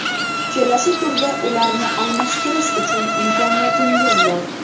Kelasi turda ularni almashtirish uchun imkoniyatingiz bor.